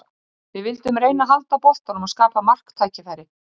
Við vildum reyna að halda boltanum og skapa marktækifæri.